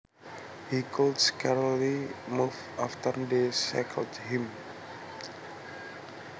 He could scarcely move after they shackled him